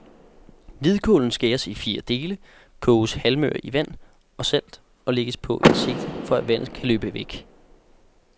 Hvidkålen skæres i fire dele, koges halvmør i vand og salt og lægges på en sigte, for at vandet kan løbe væk.